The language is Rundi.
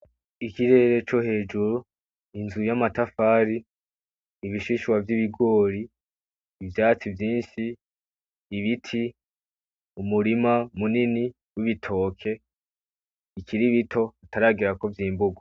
Ikirere co hejuru, inzu yamtafari , ibishishwa vyibigorigori, ivyatsi vyinshi, ibiti, umurima munini wibitoke bikiri bito hataragera ko vyimburwa .